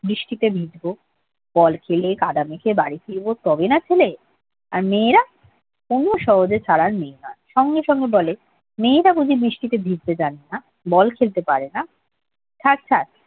বৃষ্টিতে ভিজবো ball খেলে কাদা মেখে বাড়ি ফিরব তবেই না ছেলে আর মেয়েরা কুমু সহজে ছাড়ার মেয়ে নয় সঙ্গে সঙ্গে বলে মেয়েরা প্রচুর বৃষ্টিতে ভিজতে জানে না বল খেলতে পারেনা থাক ছাড়